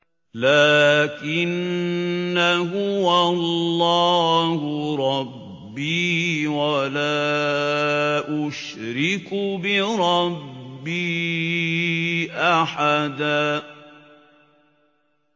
لَّٰكِنَّا هُوَ اللَّهُ رَبِّي وَلَا أُشْرِكُ بِرَبِّي أَحَدًا